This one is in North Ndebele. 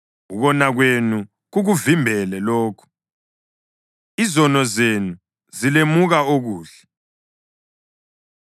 Ukona kwenu kukuvimbele lokhu, izono zenu zilemuka okuhle.